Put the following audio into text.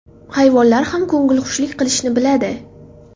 Hayvonlar ham ko‘ngilxushlik qilishni biladi.